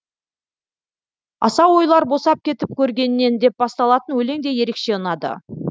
асау ойлар босап кетіп көргеннен деп басталатын өлең де ерекше ұнады